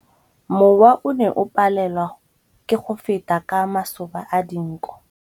Mowa o ne o palelwa ke go feta ka masoba a dinko.